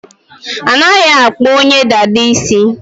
Anaghị akpụ onye dada isi.